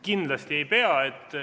Kindlasti ei pea.